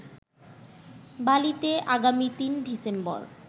বালিতে আগামী ৩ ডিসেম্বর